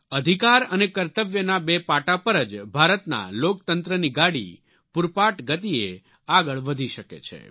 અધિકાર અને કર્તવ્યના બે પાટા પર જ ભારતના લોકતંત્રની ગાડી પૂરપાટ ગતિએ આગળ વધી શકે છે